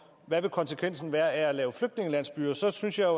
hvad konsekvensen vil være af at lave flygtningelandsbyer så synes jeg